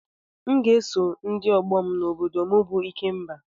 M ga-eje iso ndị ọgbọ na obodo m bụ ikemba